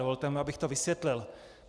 Dovolte mi, abych to vysvětlil.